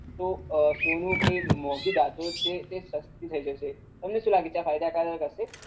તો સોનુ કે મોંઘી ધાતુઓ જે છે એ સસ્તી થઈ જશે.